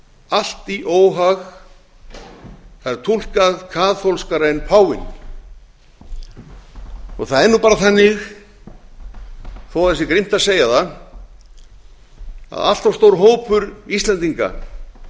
allt í óhag það er túlkað kaþólskara en páfinn það er nú bara þannig þó að það sé grimmt að segja það að allt of stór hópur íslendinga